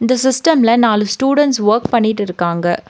இந்த சிஸ்டம்ல நாலு ஸ்டூடண்ட்ஸ் வொர்க் பண்ணிட்டு இருக்காங்க.